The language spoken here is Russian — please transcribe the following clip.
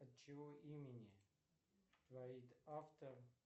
от чьего имени творит автор